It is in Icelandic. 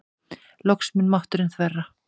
Loks mun mátturinn þverra.